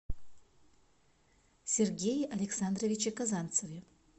сергее александровиче казанцеве